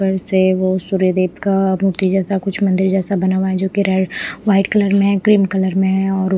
से वो सूर्यदेव का मूर्ति जैसा कुछ मंदिर जैसा बना हुआ है जो कि रेड वाइट कलर में है क्रीम कलर में है और--